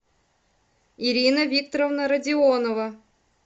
ирина викторовна родионова